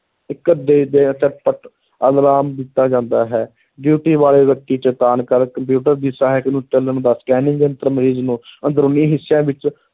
ਝਟਪਟ alarm ਦਿੱਤਾ ਜਾਂਦਾ ਹੈ duty ਵਾਲੇ ਵਿਅਕਤੀ ਚੇਤੰਨ ਕਰ ਕੰਪਿਊਟਰ ਦੀ ਸਹਾਇਕ ਨੂੰ ਚੱਲਣ ਦਾ scanning ਯੰਤਰ ਮਰੀਜ਼ ਨੂੰ ਅੰਦਰੂਨੀ ਹਿੱਸਿਆਂ ਵਿੱਚ